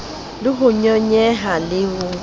le ho nyonyehang le ho